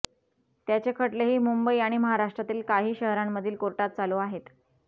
त्याचे खटलेही मुंबई आणि महाराष्ट्रातील काही शहरांमधील कोर्टात चालू आहेत